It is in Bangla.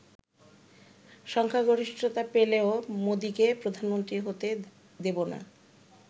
সংখ্যাগরিষ্ঠতা পেলেও মোদিকে প্রধানমন্ত্রী হতে দেব না।